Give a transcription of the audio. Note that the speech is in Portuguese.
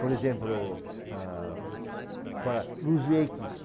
Por exemplo, ah, fala luz